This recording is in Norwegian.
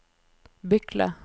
Bykle